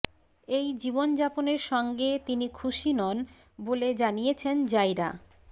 এই জীবনযাপনের সঙ্গে তিনি খুশি নন বলে জানিয়েছেন জাইরা